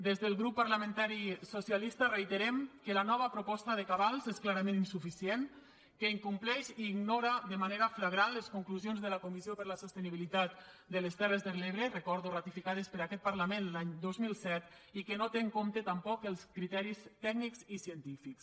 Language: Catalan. des del grup parlamentari socialista reiterem que la nova proposta de cabals és clarament insuficient que incompleix i ignora de manera flagrant les conclusions de la comissió per a la sostenibilitat de les terres de l’ebre ho recordo ratificades per aquest parlament l’any dos mil set i que no té en compte tampoc els criteris tècnics i científics